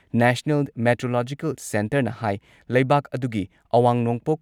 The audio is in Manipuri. ꯅꯦꯁꯅꯦꯜ ꯃꯦꯇꯤꯑꯣꯔꯣꯂꯣꯖꯤꯀꯦꯜ ꯁꯦꯟꯇꯔꯅ ꯍꯥꯏ ꯂꯩꯕꯥꯛ ꯑꯗꯨꯒꯤ ꯑꯋꯥꯡ ꯅꯣꯡꯄꯣꯛ